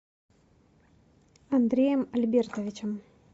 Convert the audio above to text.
андреем альбертовичем